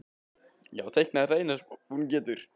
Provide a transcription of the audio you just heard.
Já, teikna er það eina sem hún getur.